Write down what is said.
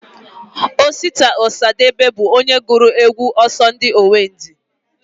Osita Osadebe bụ onye gụrụ egwu Ọsọndị Owendị